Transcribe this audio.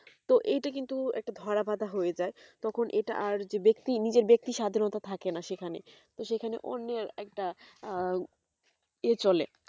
তা এটা কিন্তু একটা ধরা বাঁধা হয়ে যায় তখন এটা আর যে ব্যাক্তি নিজের ব্যাক্তি স্বাধীনতা থাকে না সেখানে তো সেখানে অন্যের একটা ইএ চলে